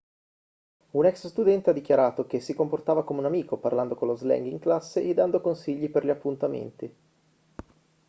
un ex-studente ha dichiarato che si comportava come un amico parlando con lo slang in classe e dando consigli per gli appuntamenti'